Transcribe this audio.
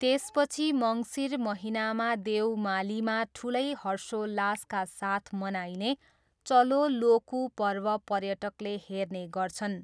त्यसपछि मङ्सिर महिनामा देवमालीमा ठुलै हर्षोल्लासका साथ मनाइने चलो लोकु पर्व पर्यटकले हेर्ने गर्छन्।